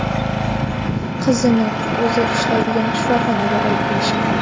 Qizni o‘zi ishlaydigan shifoxonaga olib kelishgan.